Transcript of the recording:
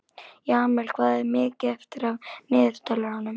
Jamil, hvað er mikið eftir af niðurteljaranum?